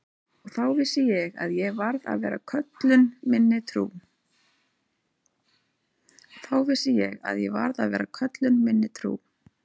Og þá vissi ég að ég varð að vera köllun minni trú.